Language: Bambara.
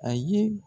A ye